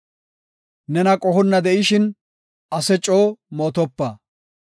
Nena qohonna de7ishin, ase coo mootopa.